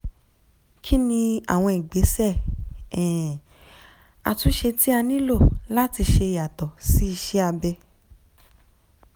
kí ni àwọn ìgbésẹ̀ um àtúnṣe tí a nílò láti ṣe yàtọ̀ sí iṣẹ́ abẹ?